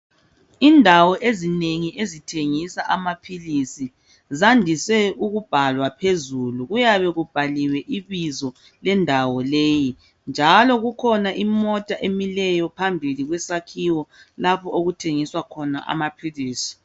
Indawo ezinengi ezithengisa amaphilisi zandise ukubhalwa phezulu. Kuyabe kubhaliwe ibizo lendawo leyi njalo kukhona imota emileyo phambi kwesakhiwo lapho okuthengiswa khona amaphilisi.